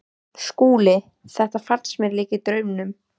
SKÚLI: Þetta fannst mér líka- í draumnum.